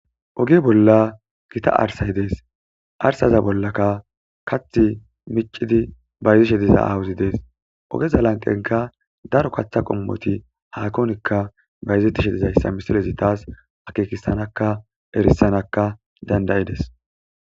Oge bolla gita arsay dees arsaza bollakka kath miccidi bayzishe diza awuzi dees ogeza lanqenka daro katha qommoti hakonikka bayzettishe dizayssa misilezi taas akekissanaka erissanaka dandayides